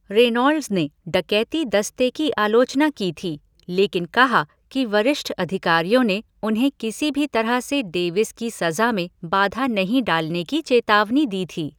Reynolds ने डकैती दस्ते की आलोचना की थी, लेकिन कहा कि वरिष्ठ अधिकारियों ने उन्हें किसी भी तरह से डेविस की सजा में बाधा नहीं डालने की चेतावनी दी थी।